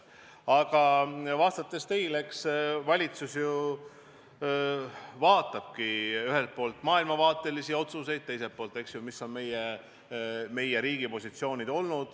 Aga vastates teie küsimusele, siis eks valitsus ju vaatabki ühelt poolt maailmavaatelisi otsuseid ja teiselt poolt seda, millised on olnud meie riigi positsioonid.